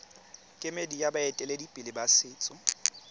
kemedi ya baeteledipele ba setso